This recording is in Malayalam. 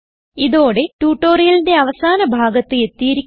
ഇതോടെ ട്യൂട്ടോറിയലിന്റെ അവസാന ഭാഗത്ത് എത്തിയിരിക്കുന്നു